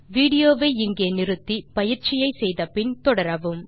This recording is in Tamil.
வீடியோ வை இங்கே நிறுத்தி பயிற்சியை செய்து முடித்து பின் தொடரவும்